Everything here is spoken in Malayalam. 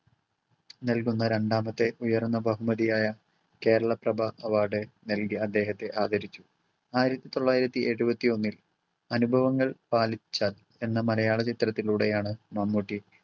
നൽകുന്ന രണ്ടാമത്തെ ഉയർന്ന ബഹുമതിയായ കേരളപ്രഭ award നൽകി അദ്ദേഹത്തെ ആദരിച്ചു. ആയിരത്തി തൊള്ളായിരത്തി എഴുപത്തി ഒന്നിൽ അനുഭവങ്ങൾ പാളിച്ച എന്ന മലയാള ചലച്ചിത്രത്തിലൂടെയാണ് മമ്മൂട്ടി